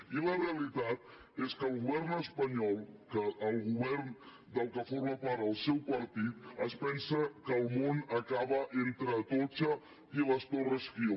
i la realitat és que el govern espanyol el govern de què forma part el seu partit es pensa que el món acaba entre atocha i les torres kio